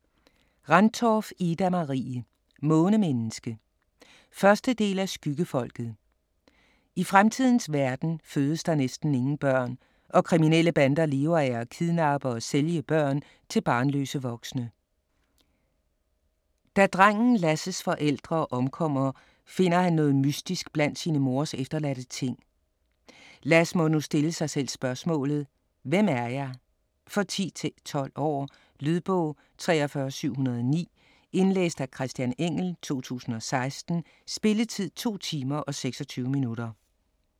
Rendtorff, Ida-Marie: Månemenneske 1. del af Skyggefolket. I fremtidens verden fødes der næsten ingen børn, og kriminelle bander lever af at kidnappe og sælge børn til barnløse voksne. Drengen Lass' forældre omkommer, finder han noget mystisk blandt sin mors efterladte ting. Lass må nu stille sig selv spørgsmålet: Hvem er jeg? For 10-12 år. Lydbog 43709 Indlæst af Christian Engell, 2016. Spilletid: 2 timer, 26 minutter.